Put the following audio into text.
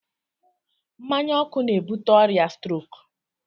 Mmanya ọkụ na-ebute ọrịa stroke.